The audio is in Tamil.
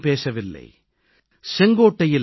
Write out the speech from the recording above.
அங்கே தனிப்பட்ட மனிதன் பேசவில்லை